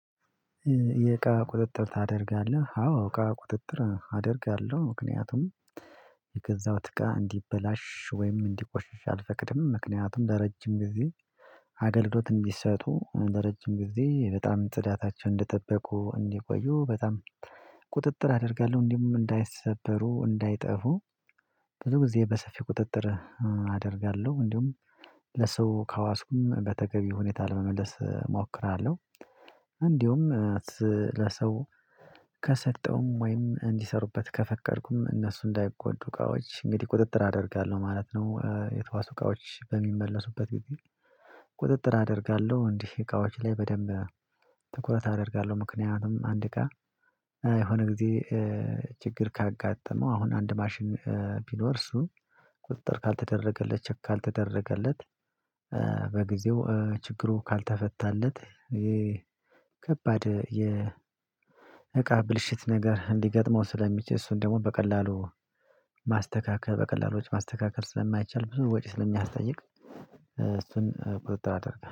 የአቃ ቁጥጥር ታደርጋለህ? አዎ ቃ ቁጥጥር አደርጋለሁ ምክንያቱም የገዛውት አቃ እንዲበላሽ ወይም እንዲቆሽሽ አልፈቅድም ምክንያቱም ለረጅም ጊዜ አገልግሎት እንዲሰጡ ለረጅም ጊዜ በጣም ጽዳታቸውን እንደጠበቁ እንዲቆዩ በጣም ቁጥጥር አደርጋለሁ እንዲሁም እንዳይሰበሩ እንዳይጠፉ ብዙ ጊዜ በሰፊ ቁጥጥር አደርጋለሁ እንዲሁም ለሰው ካዋስኩም በተገቢ ሁኔታ ለመመለስ እሞክራለሁ። እንዲሁም ለሰው ከሰጠውም ወይም እንዲሰሩበት ከፈቀድኩም እነሱ እንዳይጎዱ እቃዎች እንግዲህ ቁጥጥር አደርጋለሁ ማለት ነው የተዋሱ እቃዎች በሚመለሱበት ጊዜ ቁጥጥር አደርጋለሁ እንዲህ እቃዎች ላይ በደንብ ትኩረት አደርጋለሁ ምክንያቱም አንድ ጋር የሆነ ጊዜ ችግር ካጋጠመው አሁን አንድ ማሽን ቢኖር እሱ ቁጥጥር ካልተደረገለት ቼክ ካልተደረገለት በጊዜው ችግሩ ካልተፈታለት ከባድ የ የእቃ ብልሽት ነገር እንዲገጥመው ስለሚችል እሱን ደግሞ በቀላሉ ማስተካከል በቀላሎች ማስተካከል ስለማይቻል ብዙ ወጪ ስለሚያስጠይቅ እሱን ቁጥጥር አደርጋለሁ